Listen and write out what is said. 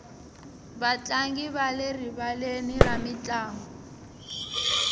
vatlangi va le rivaleni ra mintlangu